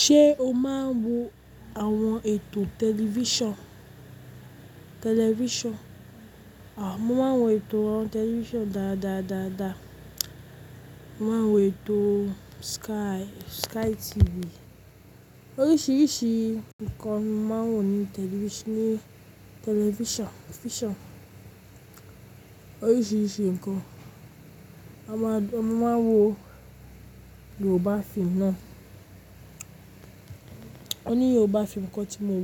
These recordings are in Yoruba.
Ṣé o máa ń wo àwọn ètò tẹlifíṣàn? Tẹlifíṣàn, à, mo máa ń wo ètò àwọn tẹlifíṣàn dáadáa dáadáa. Mo máa ń wo ètò Sky, Sky TV. Oríṣiríṣi nǹkan ni mo máa ń wò ní tẹlifíṣàn, ní tẹlifíṣàn, fíṣàn. Oríṣiríṣi nǹkan. A máa, a máa ń wo Yorùbá fíìmù náà. Òní Yorùbá fíìmù kan tí mo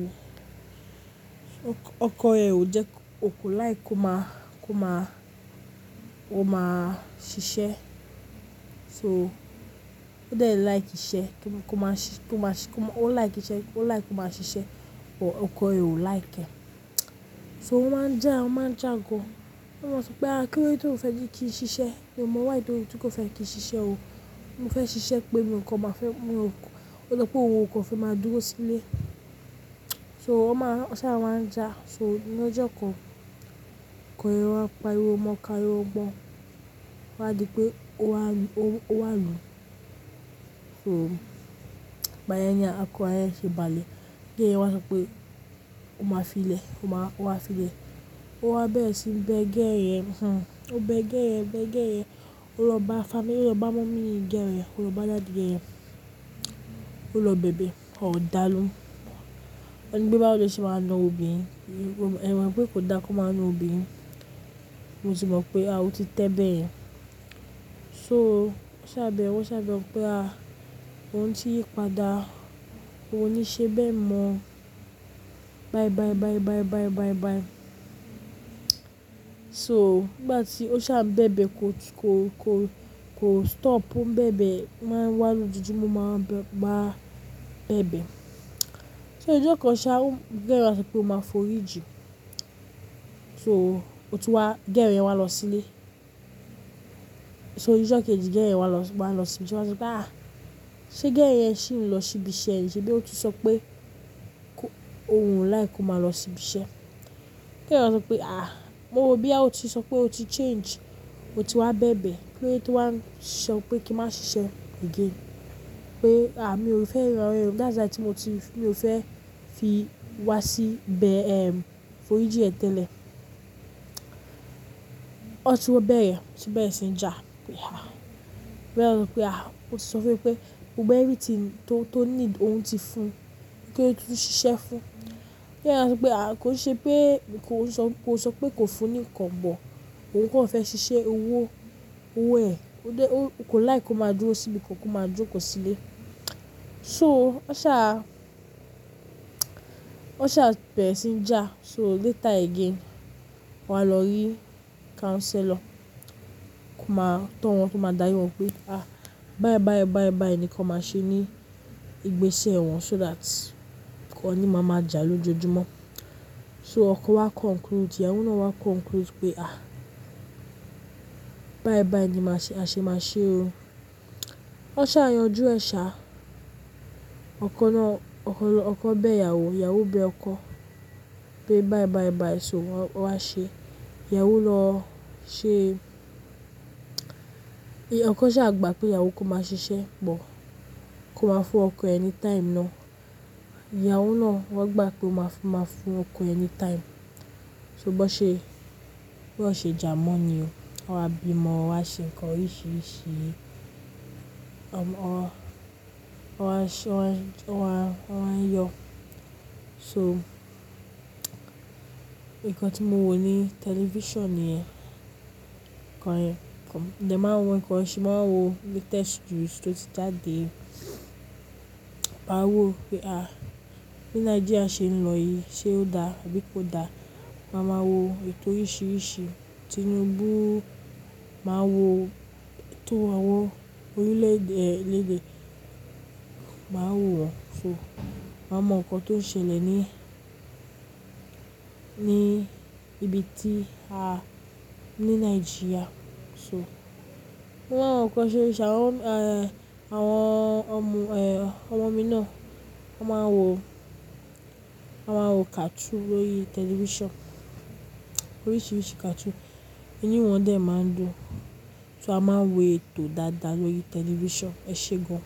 wò, ọkọ rẹ̀ ò jẹ́ kó, kò like kó máa, kó máa, ó máa ṣiṣẹ́. So, ó dẹ̀ like ìṣe, kí kó máa ṣiṣẹ́, kó máa ṣiṣẹ́, kó máa, ó like ìṣe, ó like kó máa ṣiṣẹ́, but ọkọ rẹ̀ ò like. So wọ́n máa ń jà, wọ́n máa ń jà gan. Wọ́n máa sọ pé, "À, kí ló dé tí o fẹ́ kí n ṣiṣẹ́? Èmi mọ̀ wá ìdí tí kò fẹ́ kí n ṣiṣẹ́ o. Mo fẹ́ ṣiṣẹ́ pé mi ọkọ máa fẹ́, mo rò kò, ó jọ pé òun kò fẹ́ máa dúró sílé." So wọ́n máa ń sá, wọ́n á ń jà. So ní ọjọ́ kan, ọkọ rẹ̀ wá pa ríwo mọ káye o gbọ́. Ó wá di pé ó wá, ó wá lù ú. So, ìgbàyẹn ni akọ ayẹyẹ ṣe bà lé. Bí yẹn wọlá ṣe pé ó máa fi lẹ̀, ó máa, ó wá fi lẹ̀. Ó wá bẹ̀rẹ̀ sí ń bẹ́ gẹ̀ẹ yẹ̀n. Ó ń bẹ́ gẹẹ yẹ̀n, bẹ́ gẹ̀ẹ yẹ̀n. Ó lọ bá family, ó lọ bá mọ́mì gẹ̀ẹ yẹ̀n, ó lọ bá dadii gẹẹ yẹ̀n. Ó lọ bẹ̀bẹ̀, wọ́n-ó dàá lohùn. Ó ní pé báwò lo ṣé máa na òbí mi. Ẹ̀ mọ̀ n pé kò da kan máa na òbí mi. Mo tì mọ̀ pé a ò tí tẹ́ bẹ̀yẹ́n. So ó sá bẹ̀ẹ̀, ó sá bẹ̀ẹ̀ pé a, ó ń tì yípadà. Óun ó ní ṣé bẹ́ẹ̀ mọ̀ ọ́n. Bayi bayi bayi bayi bayi bayi bayi. So nígbà tí ó ṣà ń bẹ́bẹ̀ kò ti, kò, kò, kò stop o ń bẹ́bẹ̀. Wọ́n máa ń wá lójojúmọ́ o máa ń bá, bá bẹ́bẹ̀. So ọjọ́ kan ṣá, kù díẹ̀ kó wá sọ pé óun máa forí ji. So ó tún wá, girl yẹn wá lọ sílé. So ní ọjọ́ kejì girl wá lọ síbi iṣẹ́. Ó wá sọ pé, "À, ṣé girl ṣì ń lọ síbi iṣẹ́ ni? Ṣé bí ó ti sọ pé kó, òun ò like kó máa lọ síbi iṣẹ́." Girl yẹn wá sọ pé, "À, mo rò bóyá ó ti sọ pé ó ti change. O ti wá bẹ́bẹ̀. Kí ló dé tó wá ń sọ pé kí n má ṣiṣẹ́ again? Pé à, mi ò fẹ́ rán ọ yẹn. That's why tí mo ti, mi ò fẹ́ fi wá sí bẹ́ẹ̀ ẹ́, forí ji ẹ tẹ́lẹ̀." Ọ tún wa bẹ̀rẹ̀, wọ́n tún bẹ̀rẹ̀ sí ń jà. Pé ah! Girl sọ pé, "À, o ti sọ fẹ́ pé gbogbo everything tó, tó need òun ti fún un. Kí ló dé tí ó ṣiṣẹ́ fún un?" Girl yẹn wá sọ pé, "À, kò ṣe pé mi kò sọ, kò sọ pé kò fún ni nǹkan kan. Òun kan fẹ́ ṣiṣẹ́, owó, owó ẹ̀, ó dẹ̀, ó kò like kó máa dúró síbi kan, kó máa jókòó sílé." So ó sá, ó sá bẹ̀rẹ̀ sí ń jà. So later again, wọ́n á lọ rí counselor. Tó máa, tó wọn tó máa dárí wọn pé, "À, bayi bayi bayi bayi ni kan máa ṣe ní ìgbésẹ̀ wọn so that wọn ní máa máa jà lójoojúmọ́." So ọkọ wá conclude, ìyàwó náà wá conclude pé, "À, bayi bayi ni máa ṣe, a ṣe máa ṣe o." Wọ́n sá yanjú ẹ̀ ṣà. Ọkọ náà, ọkọ náà, ọkọ bẹ́ ìyàwó, ìyàwó bẹ ọkọ pé bayi bayi bayi so wọ́n wá ṣe. Ìyàwó lọ ṣe ọkọ sá gbà pé ìyàwó kó máa ṣiṣẹ́ pọ̀. Kó máa fún ọkọ ẹ ni time ná. Ìyàwó náà wọ́n gbà pé ó máa fún, máa fún ọkọ anytime. Ṣùgbọ́n ṣe, bí wọ́n ṣe jà mọ́ ni o. Wọ́n á bí ọmọ, wọ́n á ṣe nǹkan oríṣiríṣi. Wọ́n máa, wọ́n á ṣe, wọ́n á, wọ́n á yọ. So, nǹkan tí mo wò ní tẹlifíṣàn nìyẹn. Ehn kan, mo dẹ̀ máa ń wo ǹkan ṣe, màá ń wo latest news tó ti jadé. Màá wò pé à, ní Nàìjíríà ṣe ń lọ yìí. Ṣé ó da àbí kò da? Màá máa wo ètò oríṣiríṣi. Tinubu máa wo, ètò àwọn orílẹ̀-èdè, lèdè, màá wò wọ́n. So, màá mọ nǹkan tó ń ṣẹlẹ̀ ní, ní ibi tí a, ní Nàìjíríà. So, wọ́n máa ń wo nǹkan ṣéṣíṣe. Àwọn, eh, àwọn ọmọ, eh, ọmọ mi náà wọ́n máa ń wo, wọ́n máa ń wo cartoon lórí tẹlifíṣàn. Oríṣiríṣi cartoon. Imii wọn dẹ̀ máa ń dùn. So a máa ń wo ètò dáadáa lórí tẹlifíṣàn. Ẹ ṣé gan.